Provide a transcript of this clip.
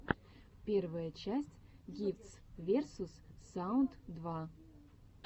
первая часть гифтс версус саунд два